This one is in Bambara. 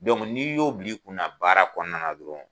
n'i y'o bil'i kunna baara kɔnɔna na dɔrɔn